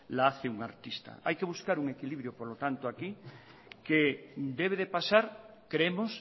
la hace un artista hay que buscar un equilibrio por lo tanto que debe de pasar creemos